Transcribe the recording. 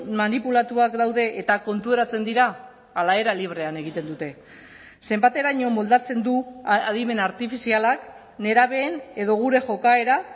manipulatuak daude eta konturatzen dira ala era librean egiten dute zenbateraino moldatzen du adimen artifizialak nerabeen edo gure jokaera